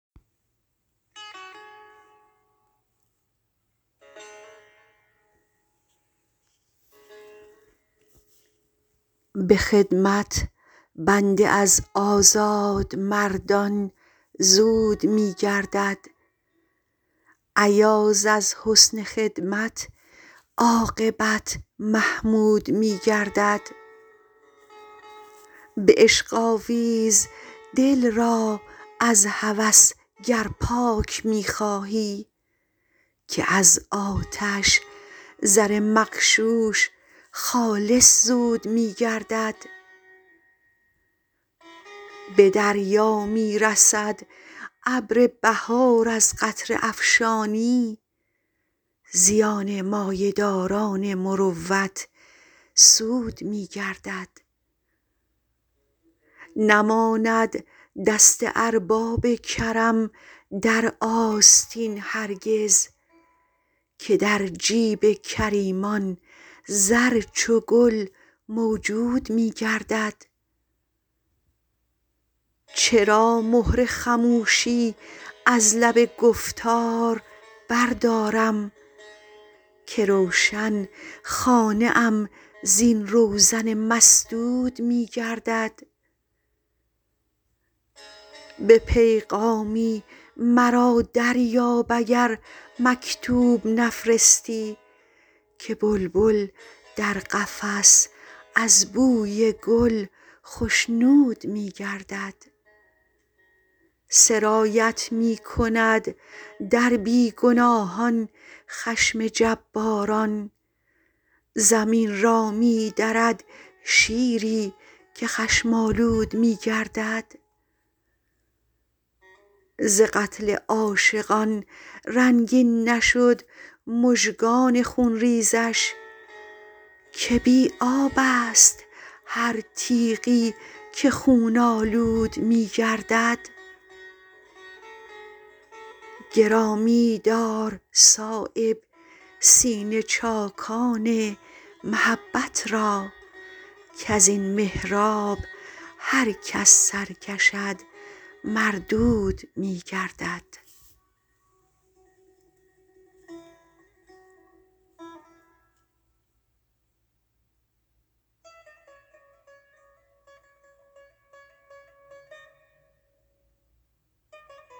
به خدمت بنده از آزادمردان زود می گردد ایاز از حسن خدمت عاقبت محمود می گردد به عشق آویز دل را از هوس گر پاک می خواهی که از آتش زر مغشوش خالص زود می گردد به دریا می رسد ابر بهار از قطره افشانی زیان مایه داران مروت سود می گردد نماند دست ارباب کرم در آستین هرگز که در جیب کریمان زر چو گل موجود می گردد چرا مهر خموشی از لب گفتار بردارم که روشن خانه ام زین روزن مسدود می گردد به پیغامی مرا دریاب اگر مکتوب نفرستی که بلبل در قفس از بوی گل خشنود می گردد سرایت می کند در بی گناهان خشم جباران زمین را می درد شیری که خشم آلود می گردد ز قتل عاشقان رنگین نشد مژگان خونریزش که بی آب است هر تیغی که خون آلود می گردد گرامی دار صایب سینه چاکان محبت را کز این محراب هرکس سر کشد مردود می گردد